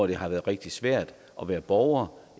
det har været rigtig svært at være borger